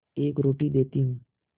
एक रोटी देती हूँ